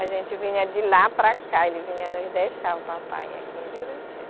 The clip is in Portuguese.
A gente vinha de lá para cá, ele vinha nos deixar, o papai, aqui em Juruti.